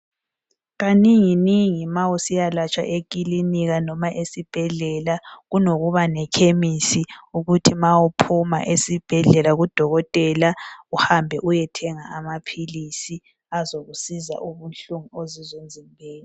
Kanenginengi ma usiyalatshwa emakilinika noma esibhedlela kunokuba nekhemisi ukuthi ma uphuma esibhedlela kudokotela uhambe uyethenga amaphilisi azokusiza ubuhlungu okuzwa emzimbeni.